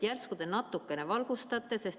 Järsku te natuke valgustate.